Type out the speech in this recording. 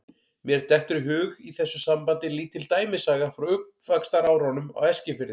Mér dettur í hug í þessu sambandi lítil dæmisaga frá uppvaxtarárunum á Eskifirði.